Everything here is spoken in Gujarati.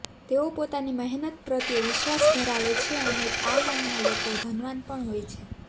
તેઓ પોતાની મહેનત પ્રત્યે વિશ્વાસ ધરાવે છે અને આ નામના લોકો ધનવાન પણ હોય છે